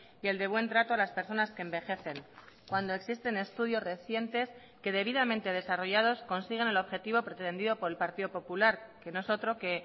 y el de buen trato a las personas que envejecen cuando existen estudios recientes que debidamente desarrollados consiguen el objetivo pretendido por el partido popular que no es otro que